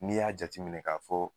N'i y'a jati minɛ k'a fɔ